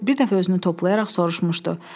Bir dəfə özünü toplayaraq soruşmuşdu.